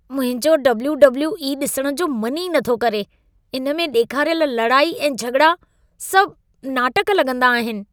मुंहिंजो W W E ॾिसणु जो मन ई नथो करे। इन में ॾेखारियल लड़ाई ऐं झॻिड़ा सभु नाटक लगं॒दा आहिनि।